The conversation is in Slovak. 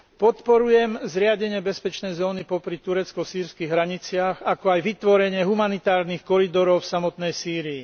Podporujem zriadenie bezpečnej zóny popri turecko sýrskych hraniciach, ako aj vytvorenie humanitárnych koridorov v samotnej Sýrii.